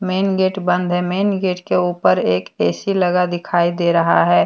Main gate बंद है main gate के ऊपर एक ए_सी लगा दिखाई दे रहा है।